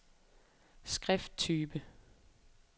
skrifttype